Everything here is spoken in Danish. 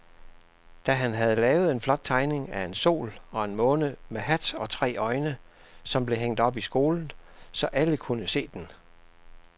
Dan havde lavet en flot tegning af en sol og en måne med hat og tre øjne, som blev hængt op i skolen, så alle kunne se den.